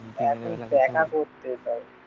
দেখা করতে চায়